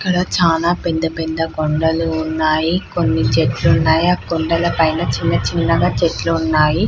అక్కడ చాలా పెద్ద పెద్ద కొండలు ఉన్నాయి కొన్ని చెట్లు ఉన్నాయి ఆ కొండల పైన చిన్న చిన్నగా చెట్లు ఉన్నాయి.